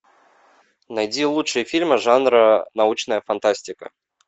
найди лучшие фильмы жанра научная фантастика